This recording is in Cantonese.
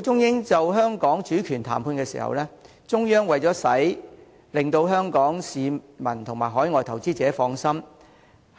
中英就香港主權談判的時候，中央為了令香港市民及海外投資者放心，